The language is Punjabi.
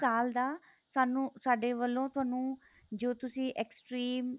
ਸਾਲ ਦਾ ਸਾਨੂੰ ਸਾਡੇ ਵੱਲੋਂ ਤੁਹਾਨੂੰ ਜੋ ਤੁਸੀਂ extreme